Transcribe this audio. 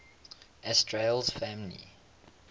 asterales families